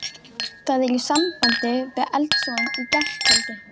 Það er í sambandi við eldsvoðann í gærkvöldi.